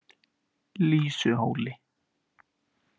Lýsuhóli